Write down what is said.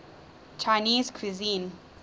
chinese cuisine